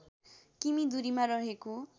किमि दूरीमा रहेको